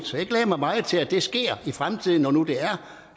så jeg glæder mig meget til at det sker i fremtiden når nu det